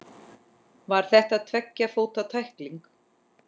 Var þetta tveggja fóta tækling?